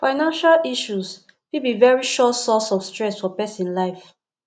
financial issues fit be very sure source of stress for person life